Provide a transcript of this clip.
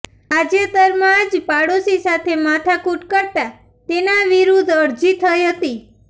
તાજેતરમાં જ પાડોશી સાથે માથાકૂટ કરતાં તેના વિરુદ્ધ અરજી થઈ હતી